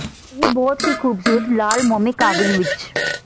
ਇਹ ਬਹੁਤ ਹੀ ਖੂਬਸੂਰਤ ਲਾਲ ਮੋਮੀ ਕਾਗਜ਼ ਵਿਚ ਸ